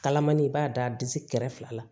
Kalamani i b'a d'a disi kɛrɛ fila la